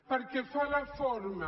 pel que fa a la forma